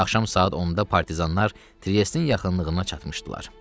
Axşam saat 10-da partizanlar Triestin yaxınlığına çatmışdılar.